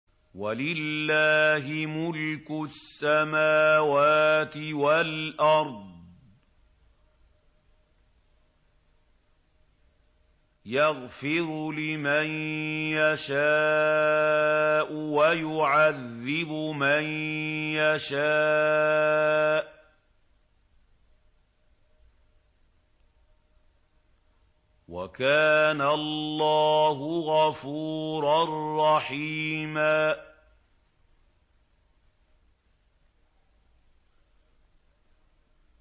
وَلِلَّهِ مُلْكُ السَّمَاوَاتِ وَالْأَرْضِ ۚ يَغْفِرُ لِمَن يَشَاءُ وَيُعَذِّبُ مَن يَشَاءُ ۚ وَكَانَ اللَّهُ غَفُورًا رَّحِيمًا